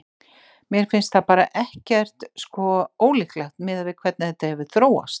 Mér finnst það bara ekkert sko, ólíklegt miðað við hvernig þetta hefur þróast.